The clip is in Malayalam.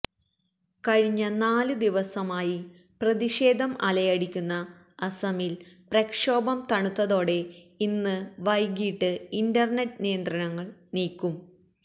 കഴിഞ്ഞ നാലു ദിവസമായി പ്രതിഷേധം അലയടിക്കുന്ന അസമില് പ്രക്ഷോഭം തണുത്തതോടെ ഇന്ന് വൈകിട്ട് ഇന്റര്നെറ്റ് നിയന്ത്രണങ്ങള് നീക്കും